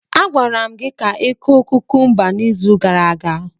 A gwara m gi ka ịkụ kukumba n'izu gara aga.